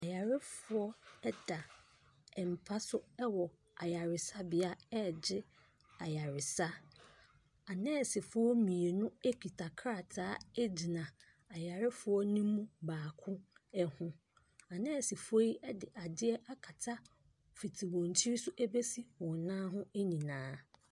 Ayarefoɔ da mpa so wɔ ayaresabea regye ayaresa. Anɛɛsefoɔ mmienu kita krataa gyina ayarefoɔ no mu baako ho. Anɛɛsefoɔ yi de adeɛ akata fiti wɔn tiri so bɛse wɔn nan ho nyinaa.